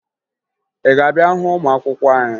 Ị ga-abịa hụ ụmụ akwụkwọ anyị?